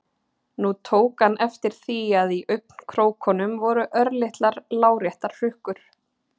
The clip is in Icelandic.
Nú tók hann eftir því að í augnkrókunum voru örlitlar láréttar hrukkur.